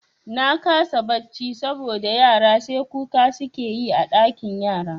Na kasa barci saboda yara sai kuka suke yi a ɗakin yara